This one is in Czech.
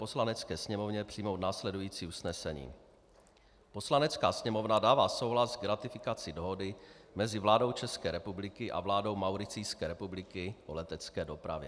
Poslanecké sněmovně přijmout následující usnesení: Poslanecká sněmovna dává souhlas k ratifikaci Dohody mezi vládou České republiky a vládou Mauricijské republiky o letecké dopravě.